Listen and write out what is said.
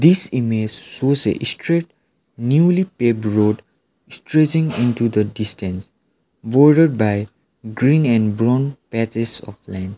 this image shows a straight newly paved road stretching into the distance borded by green and brown patches of land.